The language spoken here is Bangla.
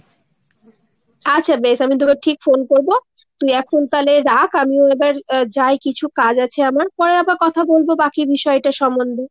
আচ্ছা বেশ আমি তোকে ঠিক phone করবো। তুই এখন তালে রাখ আমিও এবার যাই কিছু কাজ আছে আমার। পরে আবার কথা বলবো বাকি বিষয়টা সম্বন্ধে।